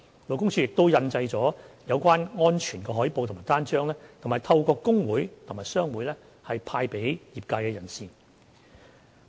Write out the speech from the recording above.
勞工處亦印製了有關安全海報及單張，並已透過工會及商會派發給業界人士。